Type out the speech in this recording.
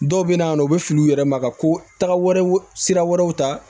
Dɔw bɛ na u bɛ fili u yɛrɛ ma ka ko taga wɛrɛw sira wɛrɛw ta